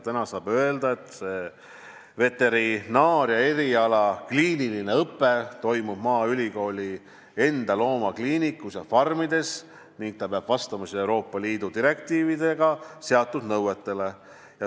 Täna saab öelda, et veterinaaria eriala kliiniline õpe toimub maaülikooli enda loomakliinikus ja farmides ning peab vastama Euroopa Liidu direktiivides seatud nõuetele.